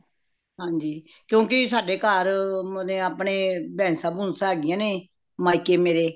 ਹਾਂਜੀ ਕਿਉਕਿ ਸਾਡੇ ਘਰ ਮੁਰੇ ਆਪਣੇ ਭਾਸ਼ਾ ਬੁਸ਼ ਹੇਗੀਆ ਨੇ ਮਾਇਕੀ ਮੇਰੇ